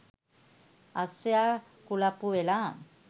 අශ්වයා කුලප්පු වෙලා